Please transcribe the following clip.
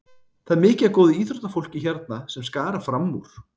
Það er mikið af góðu íþróttafólki hérna sem er að skara fram úr.